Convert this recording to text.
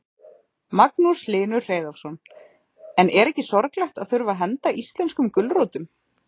Magnús Hlynur Hreiðarsson: En er ekki sorglegt að þurfa að henda íslenskum gulrótum?